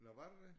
Nåh var det det